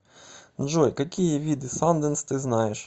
джой какие виды санденс ты знаешь